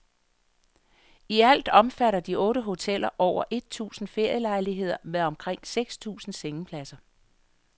I alt omfatter de otte hoteller over et tusind ferielejligheder med omkring seks tusind sengepladser.